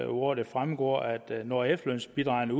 hvor det fremgår når efterlønsbidragene